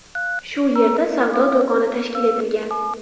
Shu yerda savdo do‘koni tashkil etilgan.